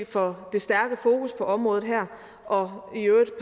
for det stærke fokus på området og i øvrigt